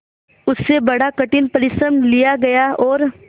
उससे बड़ा कठिन परिश्रम लिया गया और